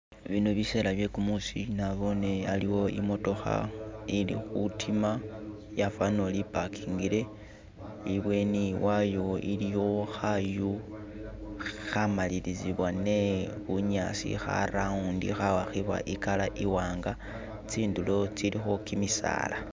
Bino biseela bye kumuusi naboone aliwo I'motokha ili khutima yafanile ori ipakingile, ibweni wayo iliyo khaayu akhamalilizibwa ne bunyaasi kha round, khawakhibwa i'color iwanga, tsindulo tsilikho kimisaala